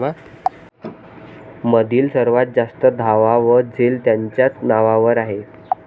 मधील सर्वात जास्त धावा व झेल त्यांच्याच नावावर आहे